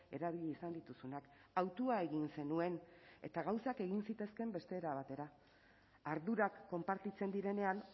erabili izan dituzunak hautua egin zenuen eta gauzak egin zitezkeen beste era batera ardurak konpartitzen direnean